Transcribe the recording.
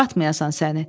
Batmayasan səni.